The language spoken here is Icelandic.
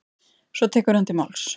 Svo tekur hann til máls: